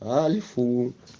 альфу